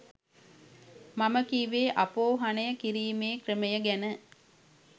මම කිව්වෙ අපෝහනය කිරීමේ ක්‍රමය ගැන.